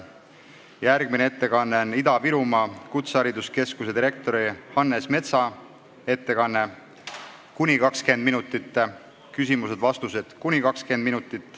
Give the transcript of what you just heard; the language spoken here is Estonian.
Järgmine ettekanne on Ida-Virumaa Kutsehariduskeskuse direktori Hannes Metsa ettekanne , siis on küsimused ja vastused .